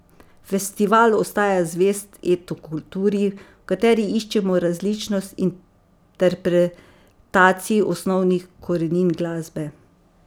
Festival ostaja zvest etno kulturi, v kateri iščemo različnost interpretacij osnovnih korenin glasbe.